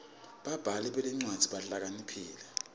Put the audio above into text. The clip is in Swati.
babhali betincwadzi bahlakaniphile